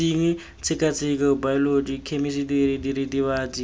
bosenyi tshekatsheko baeoloji khemisitiri diritibatsi